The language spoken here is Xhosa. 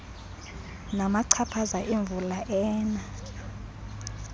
namachaphaza emvula ena